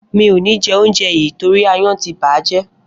Mi ò ní jẹ óúnjẹ yìì torí aáyán ti bà á jẹ́.